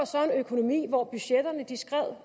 så en økonomi hvor budgetterne skred år